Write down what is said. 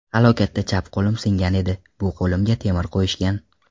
Halokatda chap qo‘lim singan edi, bu qo‘limga temir qo‘yishgan.